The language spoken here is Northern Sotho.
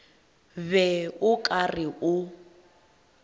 be o ka re o